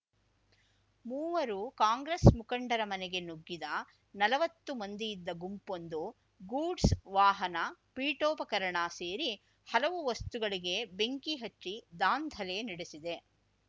ಮೂವರು ಕಾಂಗ್ರೆಸ್‌ ಮುಖಂಡರ ಮನೆಗೆ ನುಗ್ಗಿದ ನಲವತ್ತು ಮಂದಿಯಿದ್ದ ಗುಂಪೊಂದು ಗೂಡ್ಸ್‌ ವಾಹನ ಪೀಠೋಪಕರಣ ಸೇರಿ ಹಲವು ವಸ್ತುಗಳಿಗೆ ಬೆಂಕಿ ಹಚ್ಚಿ ದಾಂಧಲೆ ನಡೆಸಿದೆ